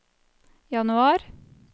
januar